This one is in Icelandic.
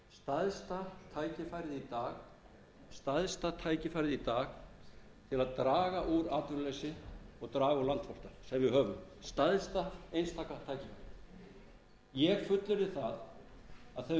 í dag til að draga úr atvinnuleysi og draga úr landflótta sem við höfum stærsta einstaka tækifærið ég fullyrði það að